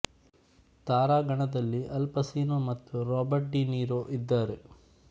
ತಾರಗಣದಲ್ಲಿ Al Pacino ಮತ್ತು Robert De Niro ಇದ್ದಾರೆ